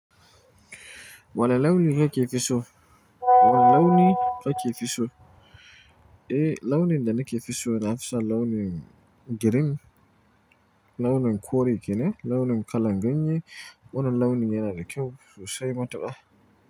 Wane launi kake fi so? Wane launi kake fi so? Eh, launin da nake fi so, nafi son launin girin, launin kore kenan, launin kalan ganye. Wannan launin yana da kyau sosai matuƙa.